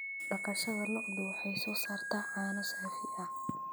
Dhaqashada lo'du waxay soo saartaa caano saafi ah.